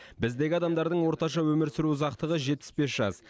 біздегі адамдардың орташа өмір сүру ұзақтығы жетпіс бес жас